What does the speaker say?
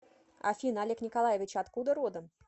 афина олег николаевич откуда родом